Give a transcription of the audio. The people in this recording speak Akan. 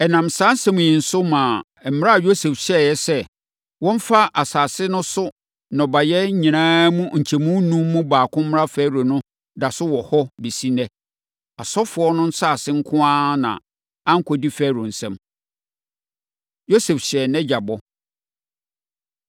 Ɛnam saa asɛm yi so maa mmara a Yosef hyɛeɛ sɛ, wɔmfa asase no so nnɔbaeɛ nyinaa mu nkyɛmu enum mu baako mma Farao no da so wɔ hɔ bɛsi ɛnnɛ. Asɔfoɔ no nsase nko ara na ankɔdi Farao nsam. Yosef Hyɛ Nʼagya Bɔ